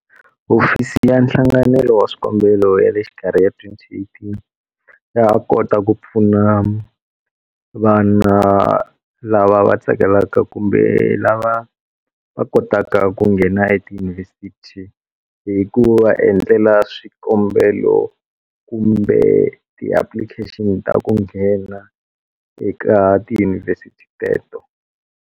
Hofisi ya Nhlanganelo wa Swikombelo ya le Xikarhi ya 2018 ya ha kota ku pfuna vana lava va tsakelaka kumbe lava va kotaka ku nghena etiyunivhesiti hi ku va endlela swikombelo kumbe ti-application ta ku nghena eka tiyunivhesiti teto.